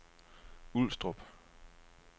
Ulstrup